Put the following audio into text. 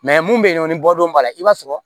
mun bɛ yen nɔ ni bɔdon b'a la i b'a sɔrɔ